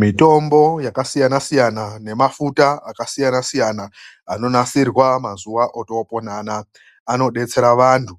Mitombo yakasiyana siyana nemafuta akasiyana siyana anonasirwa mazuva atakurarama anaaya anodetsera vantu